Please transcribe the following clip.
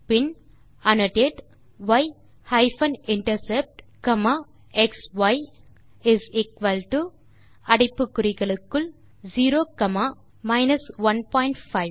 bin annotate y hyphen intercept comma xi is equal to அடைப்பு குறிகளுக்குள் 0 comma 15